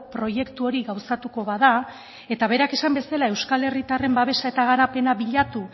proiektu hori gauzatuko bada eta berak esan bezala euskal herritarren babesa eta garapena bilatu